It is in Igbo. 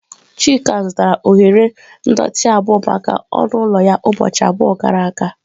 Chika zụtara oghere ndọtị abụo maka ọnụ ụlọ ya ụbọchị abụọ gara aga.